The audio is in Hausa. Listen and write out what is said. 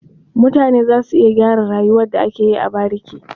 Mutane za su iya gyara rayuwar da ake yi a bariki.